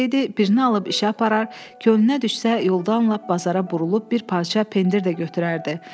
birini alıb işə aparar, könlünə düşsə yolda dönüb lap bazara burulub bir parça pendir də götürərdi.